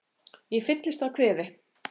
Ég fyllist af kvefi.